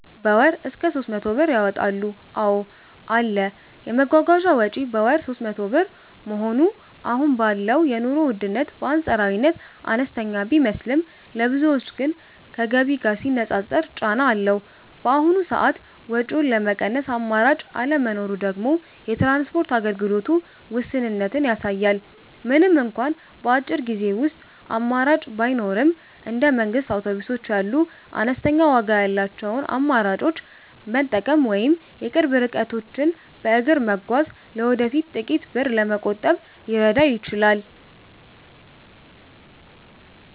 በ ወር እስከ 300 ብር ያወጣሉ ,አዎ አለ, የመጓጓዣ ወጪ በወር 300 ብር መሆኑ አሁን ባለው የኑሮ ውድነት በአንፃራዊነት አነስተኛ ቢመስልም፣ ለብዙዎች ግን ከገቢ ጋር ሲነፃፀር ጫና አለው። በአሁኑ ሰዓት ወጪውን ለመቀነስ አማራጭ አለመኖሩ ደግሞ የትራንስፖርት አገልግሎቱ ውስንነትን ያሳያል። ምንም እንኳን በአጭር ጊዜ ውስጥ አማራጭ ባይኖርም፣ እንደ መንግስት አውቶቡሶች ያሉ አነስተኛ ዋጋ ያላቸውን አማራጮች መጠበቅ ወይም የቅርብ ርቀቶችን በእግር መጓዝ ለወደፊቱ ጥቂት ብር ለመቆጠብ ሊረዳ ይችላል።